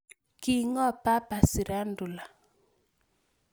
King'oo Papa shirandula